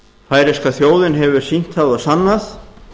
færeyska þjóðin hefur sýnt það og sannað